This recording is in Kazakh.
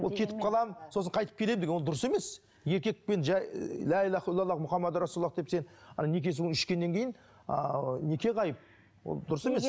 ол кетіп қаламын сосын қайтып келемін деген ол дұрыс емес еркекпен жай деп сен неке суын ішкеннен кейін ааа неке ғайып ол дұрыс емес